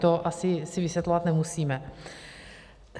To si asi vysvětlovat nemusíme.